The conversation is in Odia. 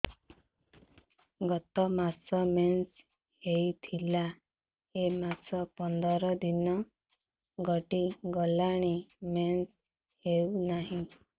ଗତ ମାସ ମେନ୍ସ ହେଇଥିଲା ଏ ମାସ ପନ୍ଦର ଦିନ ଗଡିଗଲାଣି ମେନ୍ସ ହେଉନାହିଁ